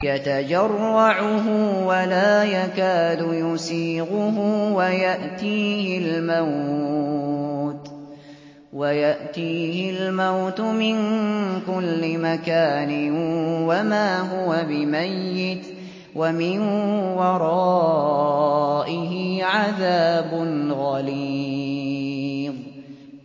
يَتَجَرَّعُهُ وَلَا يَكَادُ يُسِيغُهُ وَيَأْتِيهِ الْمَوْتُ مِن كُلِّ مَكَانٍ وَمَا هُوَ بِمَيِّتٍ ۖ وَمِن وَرَائِهِ عَذَابٌ غَلِيظٌ